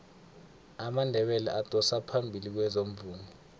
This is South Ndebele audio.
amandebele adosa phambili kwezomvumo